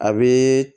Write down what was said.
A bɛ